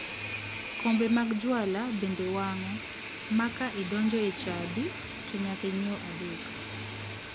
Kombe mag juala bende wango ma ka idonjo e chadi to nyaka inyiew adek.